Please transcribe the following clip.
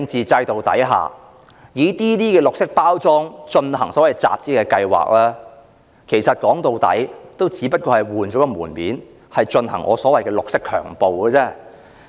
在專制的政治制度下，以綠色包裝進行所謂集資的計劃，說到底只不過是換個門面，進行我所謂的"綠色強暴"而已。